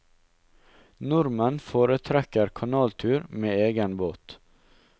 Nordmenn foretrekker kanaltur med egen båt.